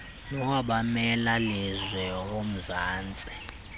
nowabameli lizwe womzantsi